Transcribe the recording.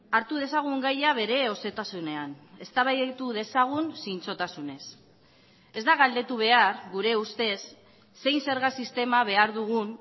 hartu dezagun gaia bere osotasunean eztabaidatu dezagun zintzotasunez ez da galdetu behar gure ustez zein zerga sistema behar dugun